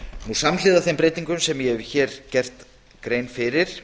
samhliða þeim breytingum sem ég hef hér gert grein fyrir